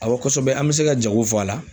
Awɔ, kosɛbɛ an bɛ se ka jago fɔ a la.